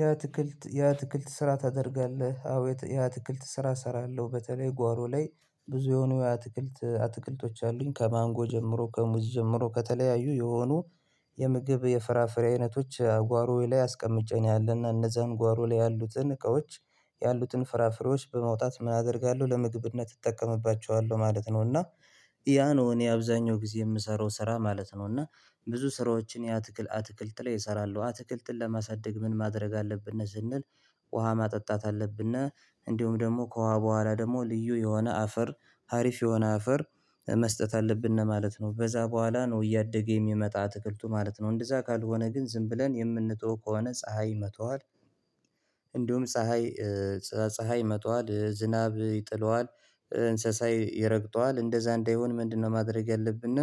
"የአትክልት የአትክልት ስራ ታደርጋለህ?" አዎ፤ የአት የአትክልት ስራ እሰራለሁ፤ በተለይ ጓሮ ላይ ብዙ የሆኑ የአትክልት አትክልቶች አሉኝ። ከማንጎ ጀምሮ ከሙዚ ጀምሮ ከተለያዩ የሆኑ የምግብ የፍራፍሬ አይነቶች ጓሮዬ ላይ አስቀምጬ ነው ያለና እነዛን ጓሮ ላይ ያሉትን እቃዎች ያሉትን ፍራፍሬዎች በማውጣት ምን አደርጋለሁ ለምግብነት እጠቀምባቸዋለሁ ማለት ነው፤ እና ያ ነው እኔ አብዛኛው ጊዜ የምሰራው ስራ ማለት ነው፤ እና ብዙ ስራዎችን የአትክል አትክልት ላይ እሰራለሁ አትክልትን ለማሳደግ ምን ማድረግ አለብን ስንል ውሃ ማጠጣት አለብን፣ እንዲሁም ደግሞ ከውሃ በኋላ ደግሞ ልዩ የሆነ አፈር ሀሪፍ የሆነ አፈር መስጠት አለብን ነው ማለት ነው። በዛ በኋላ ነው እያደገ የሚመጣ አትክልቱ ማለት ነው እንደዛ ካልሆነ ግን ዝም ብለን የምንተወው ከሆነ ፀሀይ ይመታዋል እንዲሁም ፀሀይ ፀ ፀሀይ ይመታዋል፣ ዝናብ ይጥለዋል፣ እንስሳ ይረግጠዋል እንደዛ እንዳይሆን ምንድነው ማድረግ ያለብን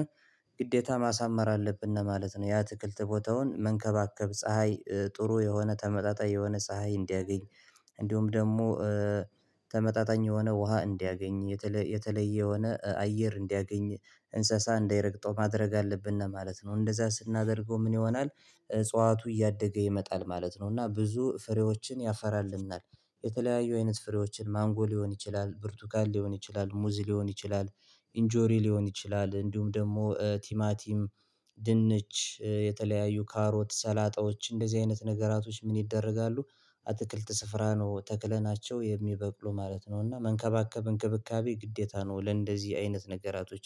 ግዴታ ማሳመር አለብን ማለት ነው የአትክልት ቦታውን መንከባከብ ፀሀይ ጥሩ የሆነ ተመጣጣኝ የሆነ ፀሀይ እንዲያገኝ እንዲሁም ደግሞ ተመጣጣኝ የሆነ ውሃ እንዲያገኝ፣ የተለየ የሆነ አየር እንዲያገኝ፣ እንስሳ እንዳይረግጠው ማድረግ አለብን ለማለት ነው። እንደዛ ስናደርገው ምን ይሆናል እጽዋቱ እያደገ ይመጣል ማለት ነው፤ እና ብዙ ፍሬዎችን ያፈራልናል የተለያዩ አይነት ፍሬዎችን ማንጎ ሊሆን ይችላል፣ ብርቱካን ሊሆን ይችላል፣ ሙዚ ሊሆን ይችላል፣ ኢንጆሪ ሊሆን ይችላል፣ እንዲሁም ደግሞ ቲማቲም ድንች፣ የተለያዩ ካሮት፣ ሰላጣዎች እንደዚህ አይነት ነገራቶች ምን ይደረጋሉ አትክልት ስፍራ ነው ተክለናቸው የሚበቅሉ ማለት ነው፤ እና መንከባከብ እንክብካቤ ግዴታ ነው ለእንደዚህ አይነት ነገራቶች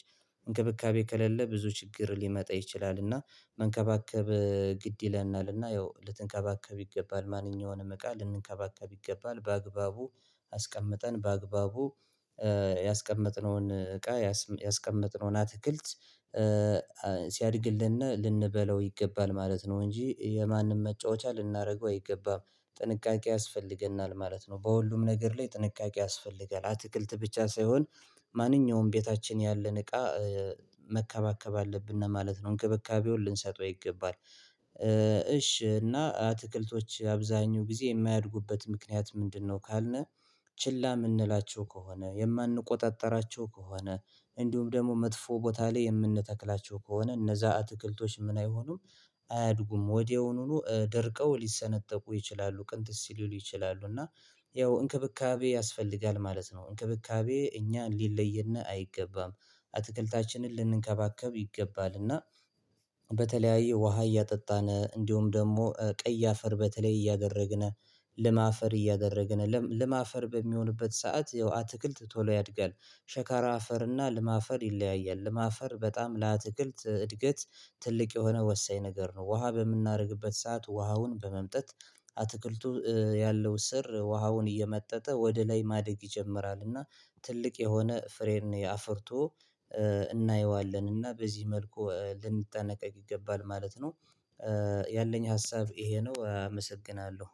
እንክብካቤ ከሌለ ብዙ ችግር ሊመጣ ይችላልና መንከባከብ ግድ ይለናል እና ያው ልትንከባከብ ይገባል ማንኛውንም እቃ ልንከባከብ ይገባል በአግባቡ አስቀምጠን በአግባቡ ያስቀመጥነውን እቃ ያስቀመጥነውን አትክልት ሲያድግልን ልንበለው ይገባል ማለት ነው እንጂ የማንም መጫወቻ ልናደርገው አይገባም። ጥንቃቄ ያስፈልገናል ማለት ነው በሁሉም ነገር ላይ ጥንቃቄ ያስፈልጋል። አትክልት ብቻ ሳይሆን ማንኛውም ቤታችን ያለን እቃ መከባከብ አለብን ማለት ነው እንክብካቤውን ልንሰጠው ይገባል። እሺ እና አትክልቶች አብዛሀኛው ጊዜ የማያድጉበት ምክንያት ምንድነው ካልን ችላ የምንላቸው ከሆነ የማንቆጣጠራቸው ከሆነ እንዲሁም ደግሞ መጥፎ ቦታ ላይ የምንተክላቸው ከሆነ እነዛ አትክልቶች ምን አይሆኑም አያድጉም። ወዲያውኑኑ ደርቀው ሊሰነጠቁ ይችላሉ ቅንጥስ ሊሉ ይችላሉ፤ እና ያው እንክብካቤ ያስፈልጋል ማለት ነው። እንክብካቤ እኛ ሊለየን አይገባም አትክልታችንን ልንከባከብ ይገባል እና በተለያየ ውሃ እያጠጣነ እንዲሁም ደግሞ ቀይ አፈር በተለይ እያደረግን ለም አፈር እያደረግን ለም አፈር በሚሆንበት ሰዓት ያው አትክልት ቶሎ ያድጋል። ሸካራ አፈር እና ለም አፈር ይለያያል ለም አፈር በጣም ለአትክልት እድገት ትልቅ የሆነ ወሳኝ ነገር ነው። ውሃ በምናደርግበት ሰዓት ውሃውን በመምጠት አትክልቱ ያለው ስር ውሃውን እየመጠጠ ወደ ላይ ማደግ ይጀምራል እና ትልቅ የሆነ ፍሬን አፍርቶ እናየዋለን እና በዚህ መልኩ ልንጠነቀቅ ይገባል ማለት ነው። ያለኝ ሀሳብ ይሄ ነው አመሰግናለሁ።